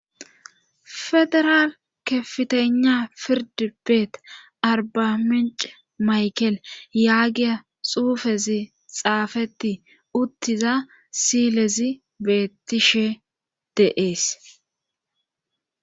Federaal kefitena firdi beet arbaminc maykel yaagiya xuufezi xaafeti uttiza silezi beettishe deees.